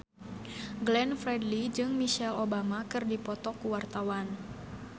Glenn Fredly jeung Michelle Obama keur dipoto ku wartawan